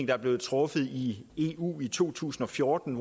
der blev truffet i eu i to tusind og fjorten